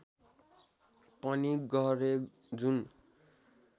पनि गरे जुन